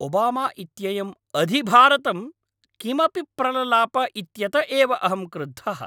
Obama इत्ययं अधिभारतं किमपि प्रललाप इत्यत एव अहं क्रुद्धः।